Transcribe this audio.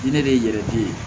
Ne de ye yɛrɛ di